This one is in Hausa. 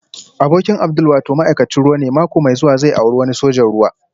Abokin Abdul wato ma'aikacin ruwa ne mako mai zuwa zai auri wani sojan ruwa